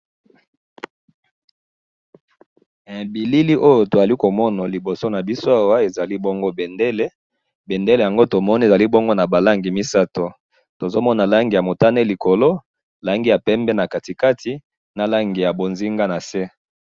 he bilili oyo tozali komona liboso nabiso awa ezali bongo bendele bendele oyo ezali naba langi misatu, tozomona langi ya motane likolo na langi ya pembe nakatikati naya mbonzinga nase.